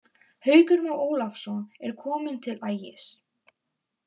Haukur Már Ólafsson er kominn til Ægis.